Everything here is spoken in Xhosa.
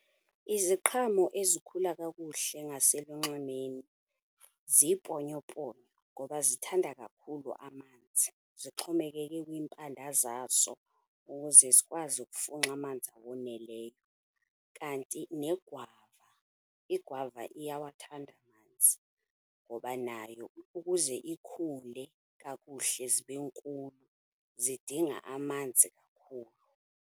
Iziqhamo ezikhula kakuhle ngaselunxwemeni ziiponyoponyo ngoba zithanda kakhulu amanzi. Zixhomekeke kwiimpanda zazo ukuze zikwazi ukufunxa amanzi awoneleyo. Kanti negwava, igwava iyawathanda amanzi ngoba nayo ukuze ikhule kakuhle zibe nkulu zidinga amanzi.